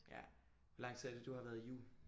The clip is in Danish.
Ja. Hvor lang tid er det du har været i JUL?